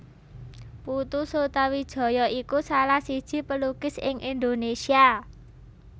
Putu Sutawijaya iku salah siji pelukis ing Indonesia